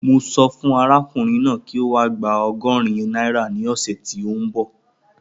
Mo sọ fún arákùnrin náà kí ó wá gba ọgọ́rin náírà ní ọ̀sẹ̀ tí ó ń bọ̀